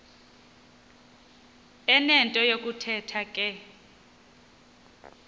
enento yokuthetha ke